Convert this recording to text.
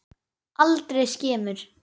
Aldrei skemur.